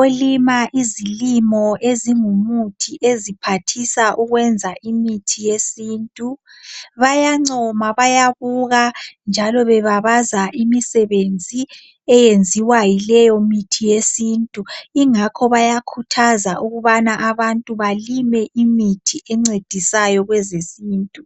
olima izilimo ezingumuthi eziphathisa ukwenza imithi yesintu bayancoma bayabuka njalo bebabaza imisebenzi eyenziwa yileyo mithi yesintu ingakho bayakhuthaza ukubana abantu balime imithi encedisayo kwezesintu.